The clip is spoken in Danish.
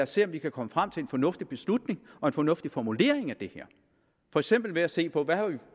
se om vi kan komme frem til en fornuftig beslutning og en fornuftig formulering af det her for eksempel ved at se på hvad der